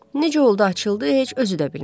Necə oldu açıldı, heç özü də bilmədi.